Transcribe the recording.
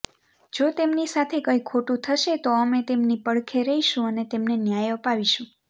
જો તેમની સાથે કઈ ખોટું થશે તો અમે તેમની પડખે રહીશું અને તેમને ન્યાય અપાવીશું